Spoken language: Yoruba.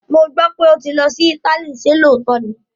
Mo gbọ́ pé ó ti lọ sí Italy, ṣé lóòótọ́ ni?